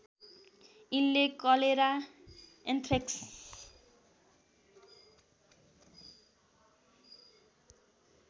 यिनले cholera anthrax